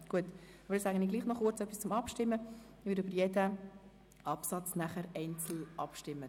Wir werden über jeden einzelnen Absatz abstimmen.